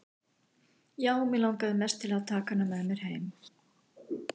Já, mig langaði mest til að taka hana með mér heim.